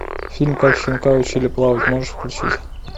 фильм как щенка учили плавать можешь включить